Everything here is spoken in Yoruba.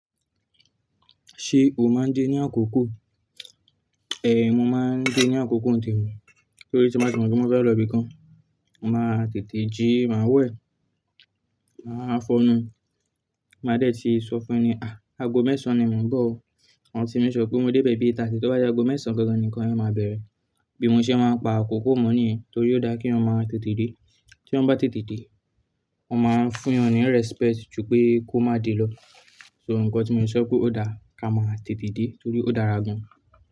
Ṣé o máa ń dé ní àkókò? Mo máa ń dé ní àkókò n temi, torí tí mo ti mọ̀ pé mo fẹ́ lọ ibìkan, màá tètè jí, màá wẹ̀, màá fọnu, màá de ti sọ fún ẹníyen, àgo mẹ́sàn-án ni mò ń bọ̀ o, màa tí make sure pé mo débe bi aago mẹ́jọ àbọ̀ tó bá jẹ́ ago mẹ́sàn-án ganganan nì nnkan yen màá bẹ̀rẹ̀. Bí mo ṣe máa ń pa àkókò mọ́ nìyẹn torí ó dáa kí eeyan maa tètè dé, tí eeyan bá tètè dé, wọ́n máa ń fún eeyan ní respect ju pé kó má de lọ. So nǹkan tí mo fi sọ pé ó dáa ká máa tètè dé torí ó dára gan.